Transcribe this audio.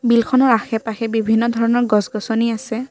নদীখনৰ আশে-পাশে বিভিন্ন ধৰণৰ গছ-গছনি আছে।